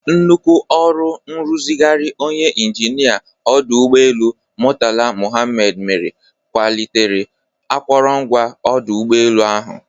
Nnukwu ọrụ nrụzigharị onye injinịa ọdụ ụgbọelu Murtala Mohammed mere kwalitere akụrụngwa ọdụ ụgbọelu ahụ.